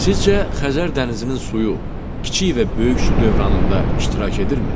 Sizcə Xəzər dənizinin suyu kiçik və böyük su dövranında iştirak edirmi?